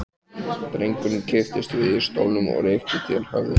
Drengurinn kipptist við í stólnum og rykkti til höfðinu.